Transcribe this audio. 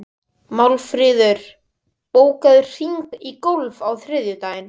Málmfríður, bókaðu hring í golf á þriðjudaginn.